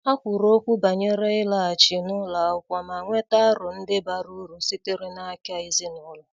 Ha kwuru okwu banyere ịlaghachi n' ụlọ akwụkwọ ma nweta aro ndi bara uru sitere n' aka ezinụlọ.